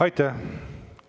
Aitäh!